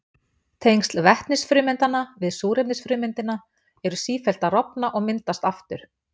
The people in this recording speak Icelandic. Tengsl vetnisfrumeindanna við súrefnisfrumeindina eru sífellt að rofna og myndast aftur.